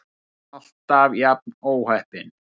Alltaf jafn óheppin!